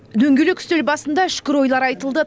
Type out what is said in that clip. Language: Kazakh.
дөңгелек үстел басында үшкір ойлар айтылды